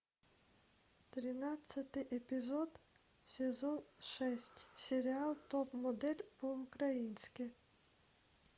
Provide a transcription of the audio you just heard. тринадцатый эпизод сезон шесть сериал топ модель по украински